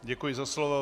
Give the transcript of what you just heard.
Děkuji za slovo.